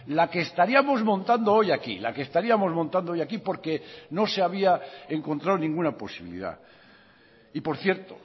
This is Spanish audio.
la que estaríamos montando hoy aquí la que estaríamos montando hoy aquí porque no se había encontrado ninguna posibilidad y por cierto